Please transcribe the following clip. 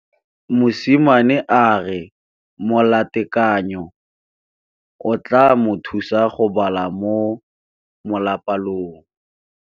Mosimane a re molatekanyô o tla mo thusa go bala mo molapalong.